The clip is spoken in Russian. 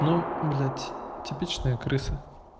ну блять типичная крыса